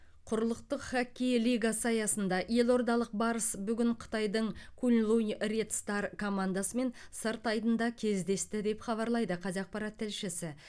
құрлықтық хоккей лигасы аясында елордалық барыс бүгін қытайдың куньлунь ред стар командасымен сырт айдында кездесті деп хабарлайды қазақпарат тілшісі